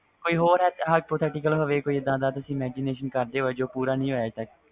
ਕੋਈ ਹੋਰ hypothetical ਹੋਵੇ ਜਿਨੂੰ ਤੁਸੀ imagination ਕਰਦੇ ਹੋਵੋ ਜੋ ਪੂਰਾ ਨਾ ਹੋਇਆ ਹੋਵੇ